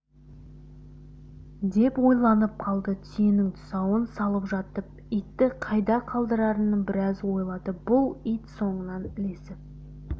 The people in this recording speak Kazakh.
деп ойланып қалды түйенің тұсауын салып жатып итті қайда қалдырарын біраз ойлады бұл ит соңынан ілесіп